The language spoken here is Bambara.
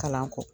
Kalan kɔ